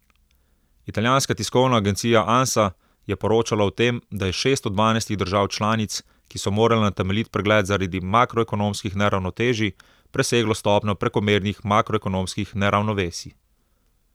Italijanska tiskovna agencija Ansa je poročala o tem, da je šest od dvanajstih držav članic, ki so morale na temeljit pregled zaradi makroekonomskih neravnotežij, preseglo stopnjo prekomernih makroekonomskih neravnovesij.